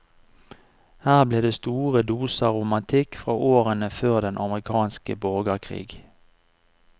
Her blir det store doser romantikk fra årene før den amerikanske borgerkrig.